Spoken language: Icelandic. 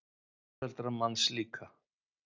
Foreldrar manns líka.